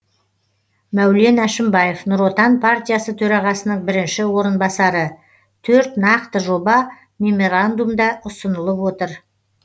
мәулен әшімбаев нұр отан партиясы төрағасының бірінші орынбасары төрт нақты жоба меморандумда ұсынылып отыр